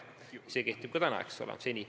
See kord kehtib ka täna.